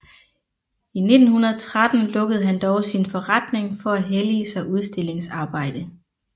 I 1913 lukkede han dog sin forretning for at hellige sig udstillingsarbejde